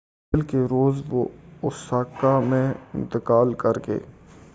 منگل کے روز وہ اوساکا میں انتقال کر گئے